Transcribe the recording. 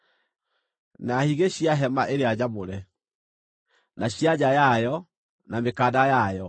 na higĩ cia hema ĩrĩa nyamũre, na cia nja yayo, na mĩkanda yayo;